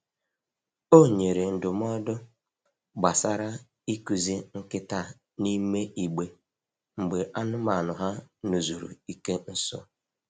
O nyere ndụmọdụ gbasara ịkụzi nkịta n’ime igbe mgbe anụmanụ ha n'zuru ike nso.